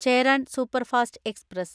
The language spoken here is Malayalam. ചേരാൻ സൂപ്പർഫാസ്റ്റ് എക്സ്പ്രസ്